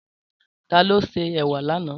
Tàló sè èwà lànã?